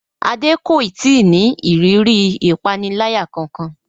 Adé kò ì tí ì ní ìrírí ìpaniláyà kankan